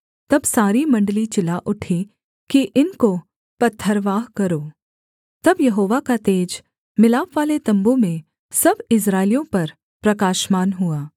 तब सारी मण्डली चिल्ला उठी कि इनको पथरवाह करो तब यहोवा का तेज मिलापवाले तम्बू में सब इस्राएलियों पर प्रकाशमान हुआ